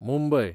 Mumbai